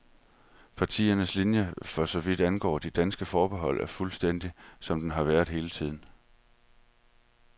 Partiets linie for så vidt angår de danske forbehold er fuldstændig, som den har været hele tiden.